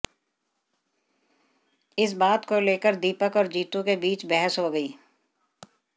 इस बात को लेकर दीपक और जीतू के बीच बहस हो गई